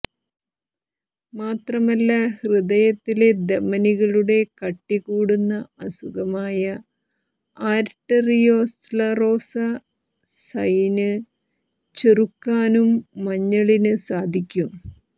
മാത്രമല്ല ഹൃദയത്തിലെ ധമനികളുടെ കട്ടി കൂടുന്ന അസുഖമായ ആര്ടെറിയോസ്ലറോസസൈന് ചെറുക്കാനും മഞ്ഞളിന് സാധിക്കും